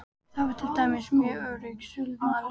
Hann var til dæmis mjög árrisull maður.